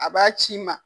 A b'a ci i ma